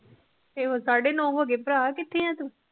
ਫਿਰ ਹੋਰ ਸਾਡੇ ਨੋ ਹੋਗੇ ਭਰਾ ਕਿਥੇ ਏ ਤੂੰ